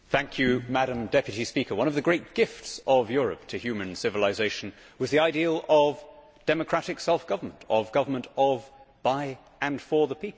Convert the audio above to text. Madam President, one of the great gifts of Europe to human civilisation was the ideal of democratic self government, of government of, by, and for the people.